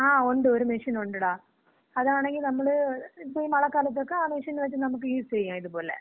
ങാ, ഉണ്ട്. ഒര് മെഷീൻ ഒണ്ടെടാ. അതാണങ്കി നമ്മള് ഇപ്പം ഈ മളക്കാലത്തക്ക ആ മെഷീൻ വച്ച് നമുക്ക് യൂസ് ചെയ്യാം. ഇതേപോലെ.